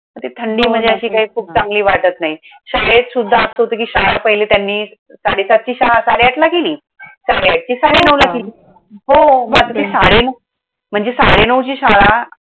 ती थंडी म्हणजे हो ना तेच हां! अशी खूप चांगली वाटत नाही. शाळेत सुद्धा असं होतं कि शाळा पहिली त्यांनी साडे सातची शाळा साडे आठला केली. साडे आठची साडे नऊला केली. हो! मं आता ते साडे नऊ, म्हणजे साडे नऊची शाळा.